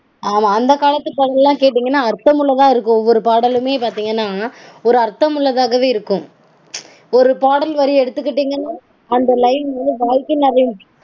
ஆமா அந்த காலத்து பாடல்கள்லாம் கேட்டீங்கனா அர்த்தமுள்ளதாக இருக்கும் ஒவ்வொரு பாடலுமே பாத்தீங்கனா ஒரு அர்த்தமுள்ளதாகவே இருக்கும். ஒரு பாடல் வரி எடுத்துக்கிட்டீங்கனா அந்த line வாழ்க்கை நெறி